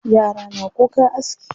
Yara na kukan aski.